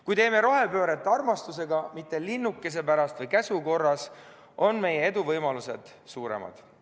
Kui teeme rohepööret armastusega, mitte linnukese pärast või käsu korras, on meie eduvõimalused suuremad.